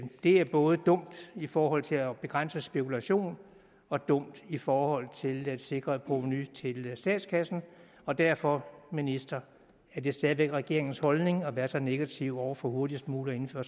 er både dumt i forhold til at begrænse spekulation og dumt i forhold til at sikre et provenu til statskassen og derfor ministeren er det stadig væk regeringens holdning at være så negativ over for hurtigst muligt at